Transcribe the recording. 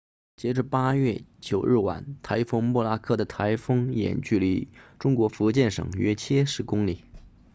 截至8月9日晚台风莫拉克的台风眼距离中国福建省约70公里